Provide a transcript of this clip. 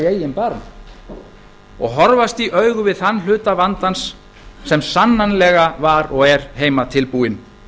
eigin barm og horfast í augu við þann hluta vandans sem sannarlega var og er heimatilbúinn